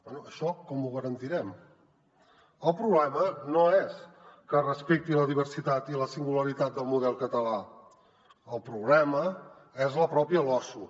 bé això com ho garantirem el problema no és que es respecti la diversitat i la singularitat del model català el problema és la pròpia losu